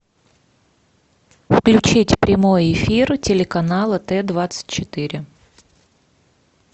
включить прямой эфир телеканала т двадцать четыре